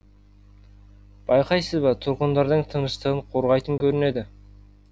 байқайсыз ба тұрғындардың тыныштығын қорғайтын көрінеді